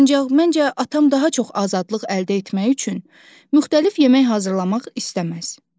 Ancaq məncə, atam daha çox azadlıq əldə etmək üçün müxtəlif yemək hazırlamaq istəməz.